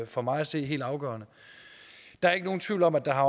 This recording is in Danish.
for mig at se helt afgørende der er ikke nogen tvivl om at der